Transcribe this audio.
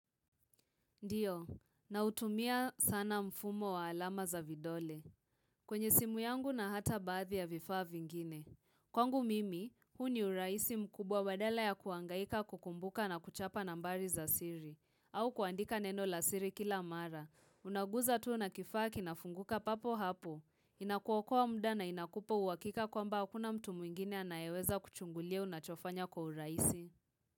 Ndio, nautumia sana mfumo wa alama za vidole. Kwenye simu yangu na hata baadhi ya vifaa vingine. Kwangu mimi, huu ni urahisi mkubwa badala ya kuhangaika kukumbuka na kuchapa nambari za siri. Au kuandika neno la siri kila mara. Unaguza tu na kifaa kinafunguka papo hapo. Inakuokoa muda na inakupa uhakika kwamba hakuna mtu mwingine anayeweza kuchungulia unachofanya kwa urahisi.